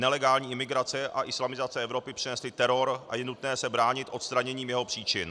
Nelegální imigrace a islamizace Evropy přinesly teror a je nutné se bránit odstraněním jeho příčin.